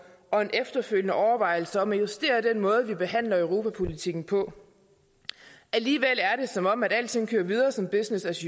og en efterfølgende overvejelse om at justere den måde vi behandler europapolitikken på alligevel er det som om alting kører videre som business as